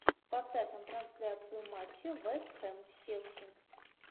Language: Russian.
поставь нам трансляцию матча вест хэм с челси